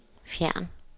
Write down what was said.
fjern